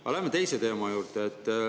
Aga läheme teise teema juurde.